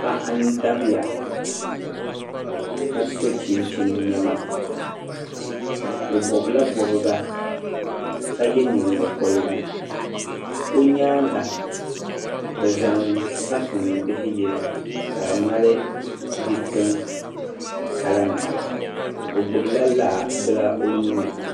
paɣa dabiya ka so chinchini nema o bɔbila bɔbiga ka ye nyingɔgorigu o nyaaŋa bɛ zaŋ kafuni bihi yili ka di mali difiran kalanima o gbula la bili o nuuni